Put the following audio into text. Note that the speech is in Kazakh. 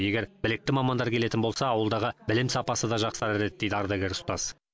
егер білікті мамандар келетін болса ауылдағы білім сапасы да жақсарар еді дейді ардагер ұстаз